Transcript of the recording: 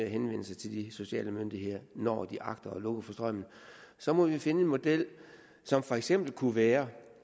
henvendelse til de sociale myndigheder når de agter at lukke for strømmen så må vi finde en model som for eksempel kunne være